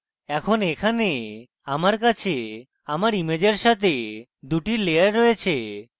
এখন এখানে আমার কাছে আমার ইমেজের সাথে দুটি লেয়ার রয়েছে